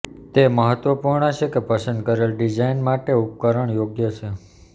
તે મહત્વપૂર્ણ છે કે પસંદ કરેલ ડિઝાઇન માટે ઉપકરણ યોગ્ય છે